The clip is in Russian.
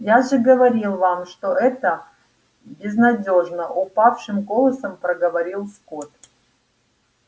я же говорил вам что это безнадёжно упавшим голосом проговорил скотт